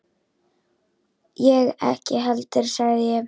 Ég ekki heldur sagði ég.